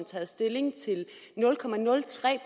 taget stilling til nul